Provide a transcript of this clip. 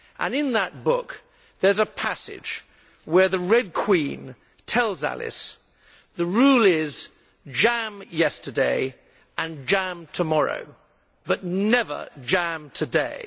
In that book there is a passage where the Red Queen tells Alice the rule is jam tomorrow and jam yesterday, but never jam today'.